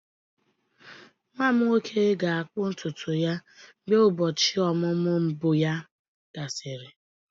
Nwa m nwoke ga-akpụ ntutu ya mgbe ụbọchị ọmụmụ mbụ ya gasịrị.